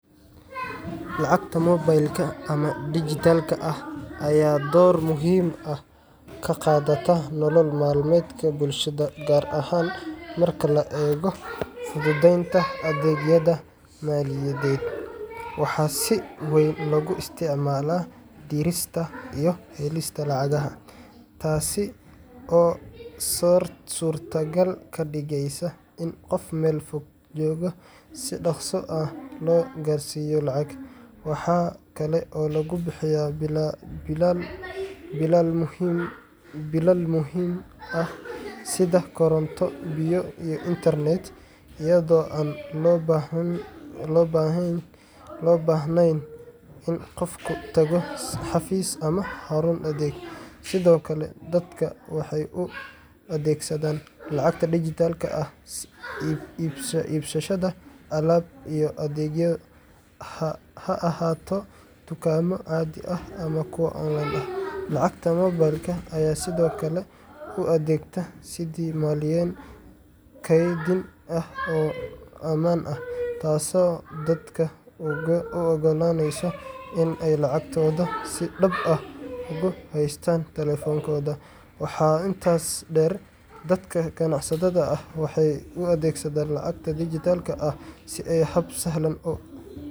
Lacagta mobilka ama dijitaalka ah ayaa door muhiim ah ka qaadata nolol maalmeedka bulshada, gaar ahaan marka la eego fududeynta adeegyada maaliyadeed. Waxaa si weyn loogu isticmaalaa dirista iyo helista lacagaha, taas oo suurto gal ka dhigeysa in qof meel fog jooga si dhaqso ah loo gaarsiiyo lacag. Waxa kale oo lagu bixiyaa biilal muhiim ah sida koronto, biyo, iyo internet, iyadoo aan loo baahnayn in qofku tago xafiis ama xarun adeeg. Sidoo kale, dadka waxay u adeegsadaan lacagta dijitaalka ah iibsashada alaab iyo adeegyo, ha ahaato dukaamo caadi ah ama kuwa online ah. Lacagta mobilka ayaa sidoo kale u adeegta sidii meeleyn kaydin ah oo amaan ah, taasoo dadka u oggolaanaysa in ay lacagtooda si nabad ah ugu haystaan taleefankooda. Waxaa intaas dheer, dadka ganacsatada ah waxay u adeegsadaan lacagta dijitaalka ah sidii hab sahlan oo.